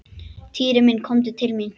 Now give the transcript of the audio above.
Týri minn komdu til mín.